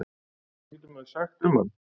Hvað getur maður sagt um hann?